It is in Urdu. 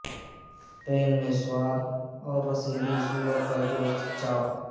پین میں سوادج اور رسیلی سور کا گوشت چاپ